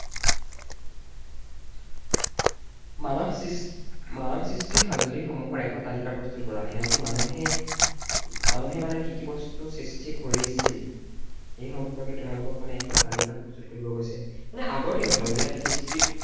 মানৱ সৃষ মানৱ সৃষ্ট সঁজুলি সমূহৰ এখন তালিকা প্ৰস্তুত কৰা মানুহে, মানুহে মানে কি কি বস্তু সৃষ্টি কৰিছিল এই সম্পৰ্কে তোমালোকক মানে এখন তালিকা প্ৰস্তুত কৰিব কৈছে। মানে আগৰ দিনত আৰু, ইয়াত history